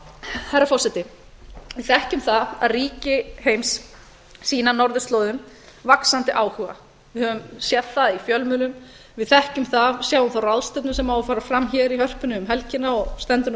herra forseti við þekkjum það að ríki heims sýna norðurslóðum vaxandi áhuga við höfum séð það í fjölmiðlum við þekkjum það sjáum þá ráðstefnu sem á að fara fram hér í hörpunni um helgina og stendur nú